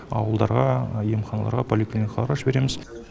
ауылдарға емханаларға поликлиникаларға жібереміз